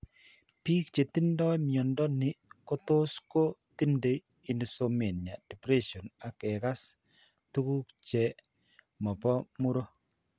Biik che tindo mnyando ni kotos ko tindo insomnia, depression ak kekas tuguk che mo po muro.